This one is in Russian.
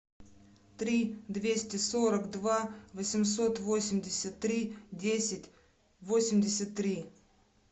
три двести сорок два восемьсот восемьдесят три десять восемьдесят три